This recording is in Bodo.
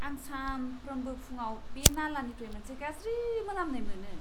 आं सानफ्रोमबो फुंआव बे नालानिफ्राय मोनसे गाज्रि मोनामनाय मोनो।